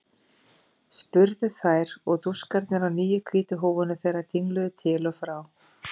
spurðu þær og dúskarnir á nýju hvítu húfunum þeirra dingluðu til og frá.